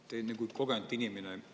Te olete kogenud inimene.